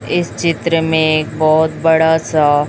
इस चित्र में एक बहोत बड़ा सा--